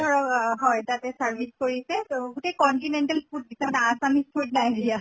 ধৰক অহ হয় তাতে service কৰিছে তʼ গোটেই continental food দিছে মানে assumes food নাই দিয়া।